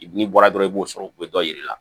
N'i bɔra dɔrɔn i b'o sɔrɔ u be dɔ yir'i la